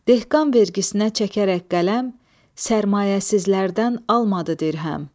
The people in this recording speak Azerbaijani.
Dilqan vergisinə çəkərək qələm, sərmayəsizlərdən almadı dirhəm.